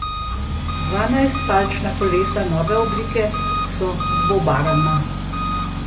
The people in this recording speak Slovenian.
Devetnajstpalčna kolesa nove oblike so dvobarvna.